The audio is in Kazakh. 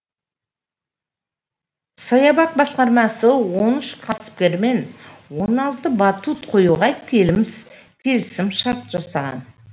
саябақ басқармасы он үш кәсіпкермен он алты батут қоюға келісімшарт жасаған